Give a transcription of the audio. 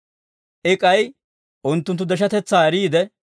I k'ay unttunttu deshatetsaa eriide,